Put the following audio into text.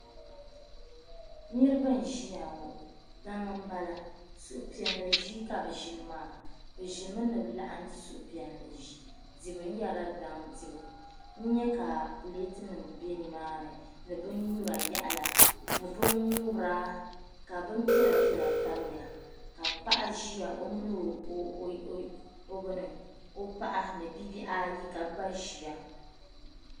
Niribi n ʒiyaŋɔ. daŋ n bala. suhu piɛli ʒii ka bɛ ʒini maa. bɛ ʒimi ni bɛ laɣim , n-di suhu piɛli dibu. bee daŋ dibu, n nyɛ ka pletinim n be nimaani ni bɛn nyura yaɣiya ni bɛn ŋubira ka bɛn piɛla piɛla tamiya, ka paɣa ʒiya ɔmini ɔ bini ɔpaɣa ni nobihi ayi ka bɛ gba ʒiya.